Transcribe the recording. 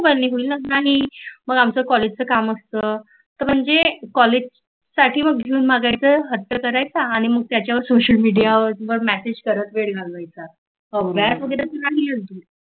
ते होईलच नाही. मग आमच काॅलेजच काम असतो तर म्हणजे काॅलेज साठी मागयचा हट्ट करायचा आणि मग त्याच्यावर सोशल मिडियावर मॅसेज करत वेळ घालवायचा